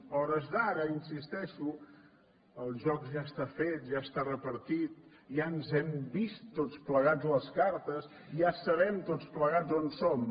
a hores d’ara insisteixo el joc ja està fet ja està repartit ja ens hem vist tots plegats les cartes ja sabem tots plegats on som